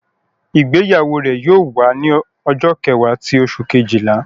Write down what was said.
Igbeyawo re yóò wa ni ọjọ kẹwa ti oṣu kejila